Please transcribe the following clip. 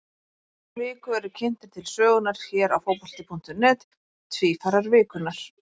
Í hverri viku eru kynntir til sögunnar hér á Fótbolti.net Tvífarar vikunnar.